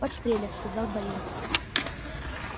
подстрелят сказал боец